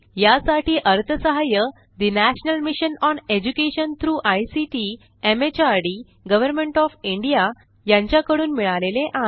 यासाठी अर्थसहाय्य national mission on education through ICT MHRD government of India यांच्याकडून मिळालेले आहे